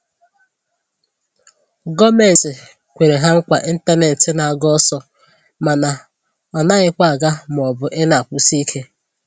gọọmenti kwere ha nkwa intanetị n'aga ọsọ mana ọ naghịkwa aga maọbụ i na-akwụsị ike